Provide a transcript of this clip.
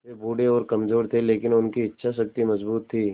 वे बूढ़े और कमज़ोर थे लेकिन उनकी इच्छा शक्ति मज़बूत थी